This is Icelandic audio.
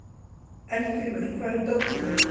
Eldgrímur, hvar er dótið mitt?